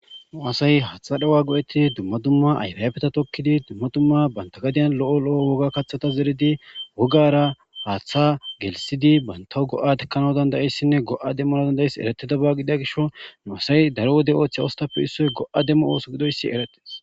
Nuasay haatha dhawa go7eti dumma dumma ayfabeta tokkidi dumma dumma bantagadiyan lo7o lo7o woga kaththata zeridi wogara haaththa gelisidi banta go'adekkanao dandayissinne go' a demmanadandayiss eretida baaggida gisho nu'say daro wode oththa ostapfe issoy go;a demmo ooso gidoyssi erates.